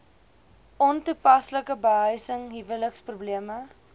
ontoepaslike behuising huweliksprobleme